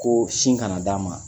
Ko sin kana d'a ma